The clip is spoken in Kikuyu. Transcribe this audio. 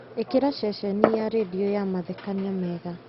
ĩkĩra ceceni ya rĩndiũ ya mathekania mega